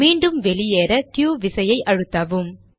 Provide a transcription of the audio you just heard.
மீண்டும் வெளியேற க்யூ விசையை அழுத்தவும்